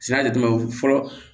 Sɛnɛ de fɔlɔ